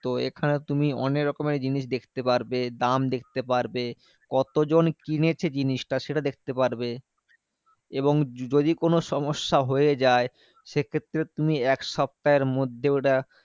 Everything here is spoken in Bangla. এখানে তুমি অনেকরকমের জিনিস দেখতে পারবে। দাম দেখতে পারবে। কতজন কিনেছে জিনিসটা? সেটা দেখতে পারবে এবং যদি কোনো সমস্যা হয়ে যায় সেক্ষেত্রে তুমি এক সপ্তাহের মধ্যে ওটা